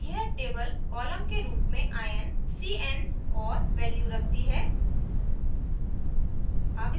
यह table columns के रूप में ion c n और value रखती है